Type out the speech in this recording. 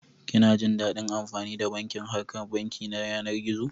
Kina jin daɗin amfani da bankin harkan banki ta yanar gizo?